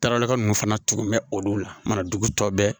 Tarata ninnu fana tun bɛ olu la manajugu tɔ bɛɛ